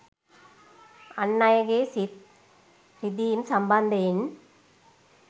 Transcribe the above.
අන් අයගේ සිත් රිදීම් සම්බන්ධයෙන්